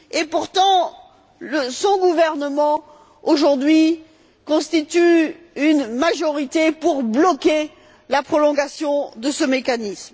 Pourtant, son gouvernement, aujourd'hui, constitue une majorité pour bloquer la prolongation de ce mécanisme.